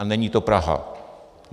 A není to Praha.